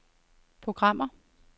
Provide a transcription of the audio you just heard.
programmer